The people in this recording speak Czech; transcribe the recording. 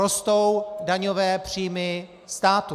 Rostou daňové příjmy státu.